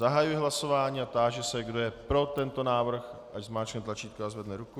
Zahajuji hlasování a táži se, kdo je pro tento návrh, ať zmáčkne tlačítko a zvedne ruku.